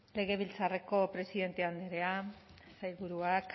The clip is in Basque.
legebiltzarreko presidente andrea sailburuak